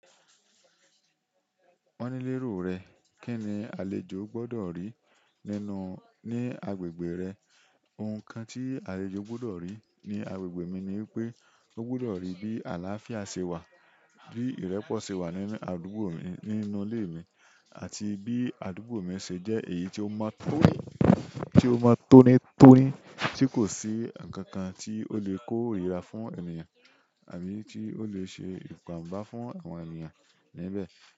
Won ni lero re, kini àlejò gbodo ri nínú-- ni agbègbè re? Ohun kan tí àlejò gbọ́dọ̀ rí ní agbègbè mi ni pé ó gbọ́dọ̀ rí bí àlàáfíà ṣe wà, bí ìrẹ̀po ṣe wà nínú àdúgbò mi, nínú ilé mi àti bí àdúgbò mi ṣe jẹ́ èyí ti o mo toni tí ó mọ tóní tóní tí kò sí ǹkan kan tí ó lè kó ìrira fún ènìyàn àbí tí ó lè ṣe ìpàǹ bá fún àwọn ènìyàn níbẹ̀.